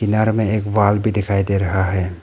में एक वाहन भी दिखाई दे रहा है।